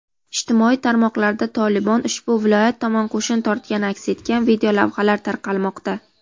Ijtimoiy tarmoqlarda "Tolibon" ushbu viloyat tomon qo‘shin tortgani aks etgan videolavhalar tarqalmoqda.